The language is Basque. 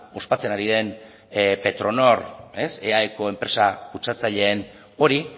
ospatzen ari den petronor eaeko enpresa kutsatzaileen hori